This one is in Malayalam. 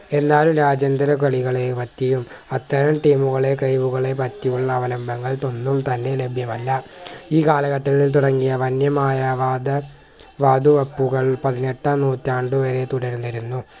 എന്നാലും രാജ്യാന്തര കളികളെയും പറ്റിയും അത്തരം team കളെ കഴിവുകളെ പറ്റിയുള്ള അവലംബങ്ങൾ ത ഒന്നും തന്നെ ലഭ്യമല്ല ഈ കാലഘട്ടത്തിൽ തുടങ്ങിയ വന്യമായ വാദ വാതുവെപ്പുകൾ പതിനെട്ടാം നൂറ്റാണ്ട് വരെ തുടർന്നിരുന്നു